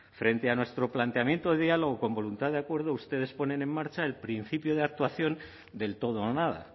frente a nuestro planteamiento de diálogo con voluntad de acuerdo ustedes ponen en marcha el principio de actuación del todo o nada